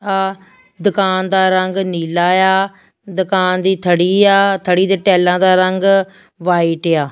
ਆ ਦੁਕਾਨ ਦਾ ਰੰਗ ਨੀਲਾ ਆ ਦੁਕਾਨ ਦੀ ਥੜੀ ਆ ਥੜੀ ਤੇ ਟੈਲਾਂ ਦਾ ਰੰਗ ਵਾਈਟ ਆ।